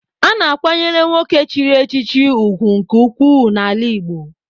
A na-akwanyere nwoke chiri echichi ugwu nke ukwuu n'ala Igbo.